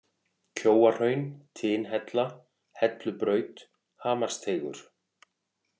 Kjóahraun, Tinhella, Hellubraut, Hamarsteigur